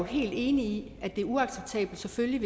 helt enig i at det selvfølgelig